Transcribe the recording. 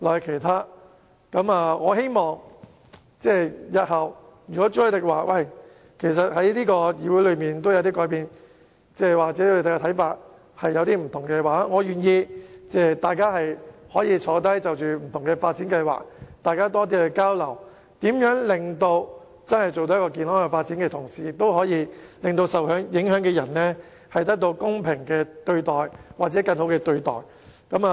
如果朱凱廸議員認為本議會已有所改變，或他們有不同的看法，大家其實可以坐下來，就各項發展計劃作更多交流，看看如何在維持健康發展的同時，也可以令受影響人士得到公平或更好的對待。